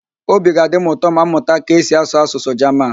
Obi ga-adị m ụtọ ma m mụta ka esi asụ Asụsụ Jaman